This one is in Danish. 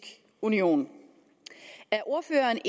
union er ordføreren